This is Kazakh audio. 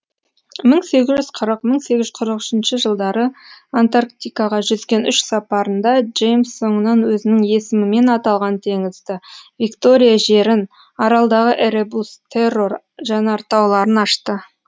мың сегіз жүз қырық мың сегіз жүз қырық үшінші жылдары антарктикаға жүзген үш сапарында джеймс соңынан өзінің есімімен аталған теңізді виктория жерін аралдағы эребус террор жанартауларын ашты